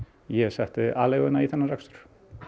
ég setti aleiguna í þennan rekstur